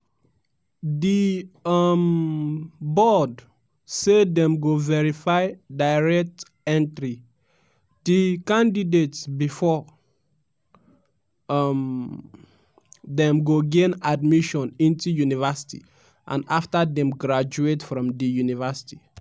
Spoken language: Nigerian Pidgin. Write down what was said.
di um board say dem go verify direct entry (de) candidates bifor um dem go gain admission into university and afta dem graduate from di university.